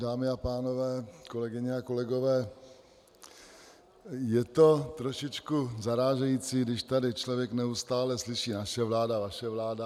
Dámy a pánové, kolegyně a kolegové, je to trošičku zarážející, když tady člověk neustále slyší naše vláda, vaše vláda.